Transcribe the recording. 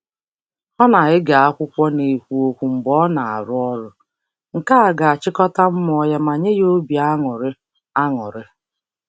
Ọ na-ege akwụkwọ n'ekwu okwu mgbe ọ na-arụ ọrụ, nke a ga-achịkọta mmụọ ya ma nye ya obi aṅụrị. aṅụrị.